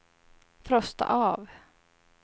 frosta av